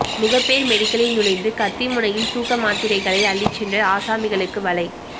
முகப்பேர் மெடிக்கலில் நுழைந்து கத்திமுனையில் தூக்க மாத்திரைகளை அள்ளிச் சென்ற ஆசாமிகளுக்கு வலை